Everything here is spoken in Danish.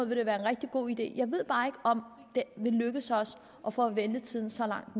ville være en rigtig god idé jeg ved bare ikke om det vil lykkes os at få ventetiden så langt